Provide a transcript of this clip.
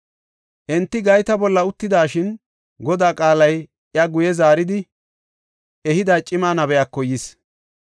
Enti gayta bolla uttidashin, Godaa qaalay iya guye zaarida ehida cima nabiyako yis.